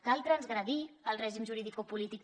cal transgredir el règim juridicopolític